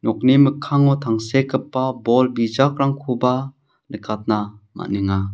nokni mikkango tangsekgipa bol bijakrangkoba nikatna man·enga.